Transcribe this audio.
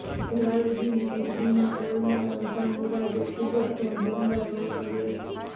જલાલુદ્દીન ખિલજીના રોલમાં રઝા મુરાદે ખૂબ જ દમદાર રોલ કર્યો છે